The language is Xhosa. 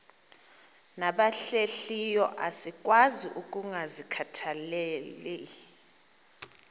nabahlehliyo asikwazi ukungazikhathaieli